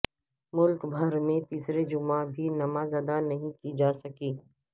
ملک بھر میں تیسرے جمعہ بھی نماز ادا نہیں کی جاسکی